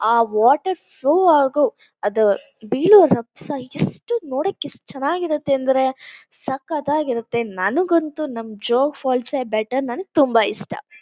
ಆ water flow ಆಗೊ ಅದು ಬೀಳೋ ರಬ್ಸ ಎಷ್ಟು ನೋಡಕ್ ಎಷ್ಟು ಚೆನಾಗ್ ಇರತ್ತೆ ಅಂದ್ರೆ ಸಕ್ಕತಾಗ್ ಇರತ್ತೆ ನಂಗೊಂತು ನಮ್ ಜೋಗ್ ಫಾಲ್ಸ್ಎ ಬೆಟರ್ ನನುಗ್ ತುಂಬಾ ಇಷ್ಟ.